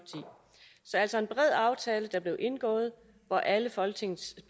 er altså en bred aftale der er blevet indgået hvor alle folketingets